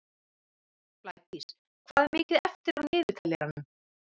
Blædís, hvað er mikið eftir af niðurteljaranum?